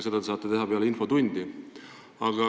Seda te saate teha peale infotundi.